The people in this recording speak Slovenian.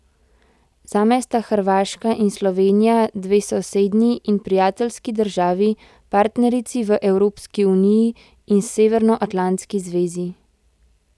Zame sta Hrvaška in Slovenija dve sosednji in prijateljski državi, partnerici v Evropski uniji in Severnoatlantski zvezi.